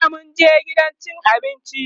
jiya mun je gidan cin abinci